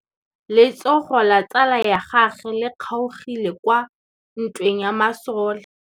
Letsôgô la tsala ya gagwe le kgaogile kwa ntweng ya masole.